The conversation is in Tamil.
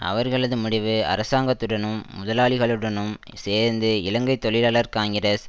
அவர்களது முடிவு அரசாங்கத்துடனும் முதலாளிகளுடனும் சேர்ந்து இலங்கை தொழிலாளர் காங்கிரஸ்